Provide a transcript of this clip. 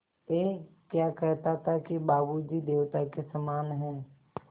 ऐं क्या कहता था कि बाबू जी देवता के समान हैं